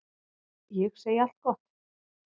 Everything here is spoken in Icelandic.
Ég segi allt gott.